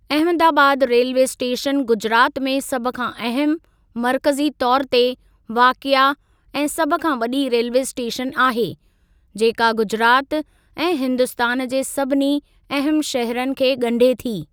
Ahmedabad railway station Gujarat में सभ खां अहमु, मर्कज़ी तौर ते वाक़िआ ऐं सभ खां वॾी रेल्वे स्टेशन आहे, जेका गुजरात ऐं हिन्दुस्तान जे सभिनी अहमु शहरनि खे ॻंढे थी।